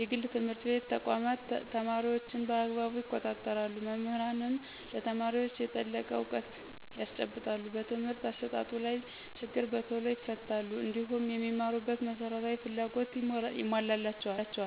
የግል ትምህርት ተቋማት ተማሪዎችን በአግባቡ ይቆጣጠራሉ መምህራንም ለተማሪዎች የጠለቀ እውቀት ያስጨብጣሉ በትምህርት አሰጣጡ ላይ ችግር በቶሎ ይፈታሉ። እንዲሁም የሚማሩበት መሰረታዊ ፍላጎቶች ይሞላላቸዎል